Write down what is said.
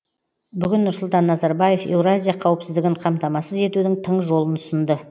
бүгін нұрсұлтан назарбаев еуразия қауіпсіздігін қамтамасыз етудің тың жолын ұсынды